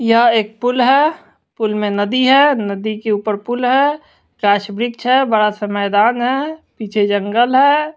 यह एक पुल है पुल में नदी है नदी के ऊपर पुल है राज वृक्ष है बड़ा सा मैदान है पीछे जंगल है।